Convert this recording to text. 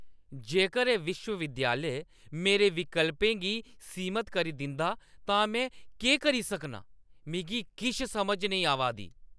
जेकर एह् विश्व-विद्यालय मेरे विकल्पें गी सीमत करी दिंदा तां मैं केह् करी सकनां? मिगी किश समझ नेईं आवा दी ।